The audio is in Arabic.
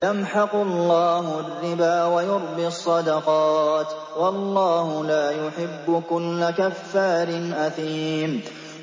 يَمْحَقُ اللَّهُ الرِّبَا وَيُرْبِي الصَّدَقَاتِ ۗ وَاللَّهُ لَا يُحِبُّ كُلَّ كَفَّارٍ أَثِيمٍ